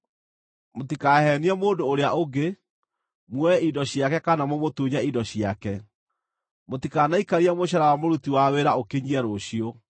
“ ‘Mũtikaheenie mũndũ ũrĩa ũngĩ, muoe indo ciake kana mũmũtunye indo ciake. “ ‘Mũtikanaikarie mũcaara wa mũruti wa wĩra ũkinyie rũciũ.